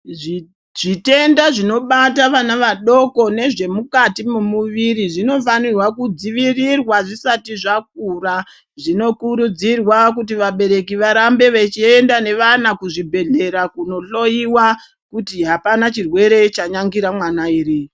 Zvitenda zvinobata vana vadoko nezvemukati memuviri zvinofanirwa kudzivirira zvisati zvakura zvino kurudzirwa kuti vabereki varambe vachiende nevana kuzvibhedhlera kunohloyiwa kuti hapana chirwere chanyangira mwana here.